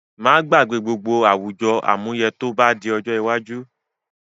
Má gbàgbé gbogbo àwùjọ àmúyẹ tó bá di ojó iwájú